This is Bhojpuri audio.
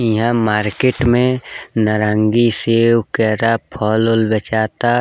इहां मार्केट मे नारंगी सेब कैरा फल-उल बेचाता।